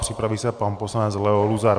Připraví se pan poslanec Leo Luzar.